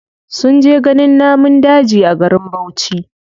Sun je ganin namun daji a garin bauchi.